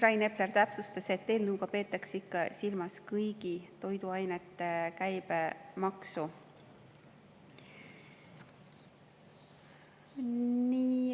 Rain Epler täpsustas, et eelnõuga peetakse ikka silmas kõigi toiduainete käibemaksu.